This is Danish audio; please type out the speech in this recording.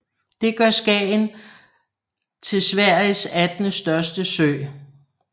Det gør Skagern til Sveriges attende største sø